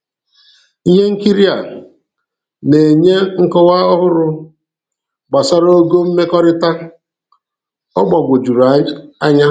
Ihe nkiri a na-enye nkọwa ọhụrụ gbasara ogo mmekọrịta: "Ọ gbagwojuru anya."